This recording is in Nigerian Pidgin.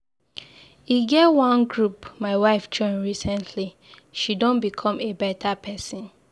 E get wan group my wife join recently, she done become a better person.